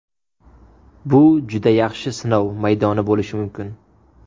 Bu juda yaxshi sinov maydoni bo‘lishi mumkin.